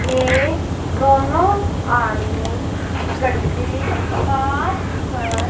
ये दोनों आदमी इकट्ठे बात कर--